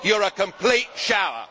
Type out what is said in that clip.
you are a complete shower!